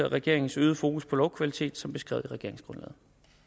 regeringens øgede fokus på lovkvaliteten som beskrevet i regeringsgrundlaget